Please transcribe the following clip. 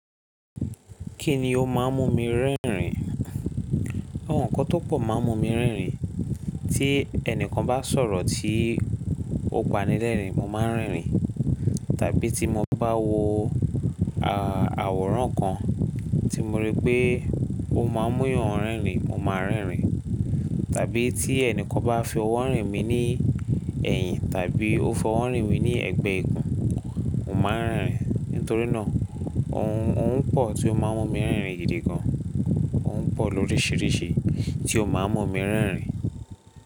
Kí ni ó máa ń mú mi rẹ rin? Àwọn nǹkan tó pọ̀ máa ń mú mi rẹn rin. Tí ẹni kan bá sọ̀rọ̀ tí ó panilẹ́rìn, mo máa ń rẹn rin. Tàbí tí mo bá wo àwòrán kan tí mo rí pé ó máa ń mú yàn rẹn rin, mo máa rẹn rin. Tàbí tí ẹni kan bá fi ọwọ́ rìn mí ní ẹ̀yìn tàbí ó fi ọwọ́ rìn mí ní ẹ̀gbẹ́ ikùn, mo máa ń rẹn rin. Nítorí náà ohun pọ̀ tí ó máa ń mú mi rẹn rin gidi gan. Ohun pọ̀ lóríṣiríṣi tí ó máa ń mú mi rínrin.